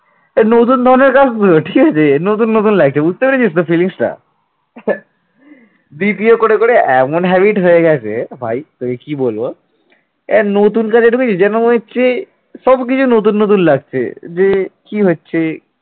এ নতুন কাজে ঢুকেছি যেন মনে হচ্ছে সবকিছুর নতুন নতুন লাগছে যে কি হচ্ছে